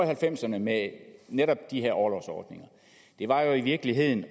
halvfemserne med netop de her orlovsordninger var jo i virkeligheden